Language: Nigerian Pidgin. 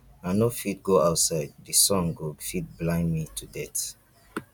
i no fit go outside the sun go fit blind me to death